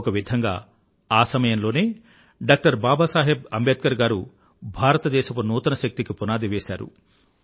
ఒక విధంగా ఆ సమయంలోనే డాక్టర్ బాబా సాహెబ్ అంబేద్కర్ గారు భారతదేశపు నూతన శక్తికి పునాదిని వేసారు